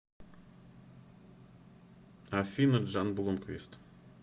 афина джан блумквист